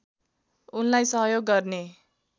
उनलाई सहयोग गर्ने